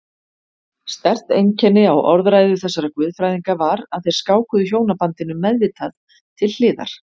Sterkt einkenni á orðræðu þessara guðfræðinga var að þeir skákuðu hjónabandinu meðvitað til hliðar.